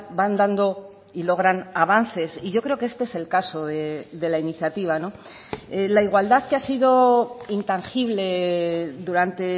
van dando y logran avances y yo creo que este es el caso de la iniciativa la igualdad que ha sido intangible durante